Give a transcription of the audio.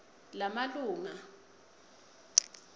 lamalunga